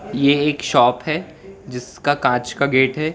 ये एक शॉप है जिसका कांच का गेट है।